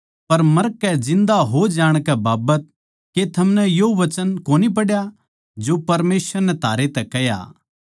पर मरकै जिन्दा हो जाणकै बाबत के थमनै यो वचन कोनी पढ़या जो परमेसवर नै थारै तै कह्या